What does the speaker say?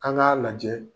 An k'a lajɛ